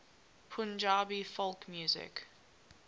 punjabi folk music